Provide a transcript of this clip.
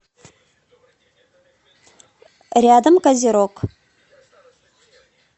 рядом козерог